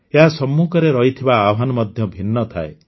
ଏହା ସମ୍ମୁଖରେ ରହିଥିବା ଆହ୍ୱାନ ମଧ୍ୟ ଭିନ୍ନ ଥାଏ